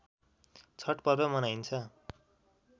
छठ पर्व मनाइन्छ